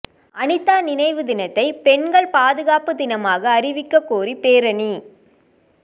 அனிதா நினைவு தினத்தை பெண்கள் பாதுகாப்பு தினமாக அறிவிக்க கோரி பேரணி